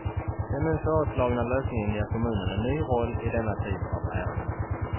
Den nu föreslagna lösningen ger kommunen en ny roll i denna typ av ärenden.